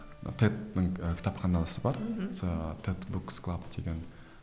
тедтің ііі кітапханасы бар мхм тедбуксклаб деген